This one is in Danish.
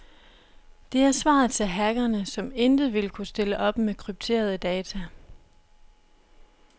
Det er svaret til hackerne, som intet vil kunne stille op med krypterede data.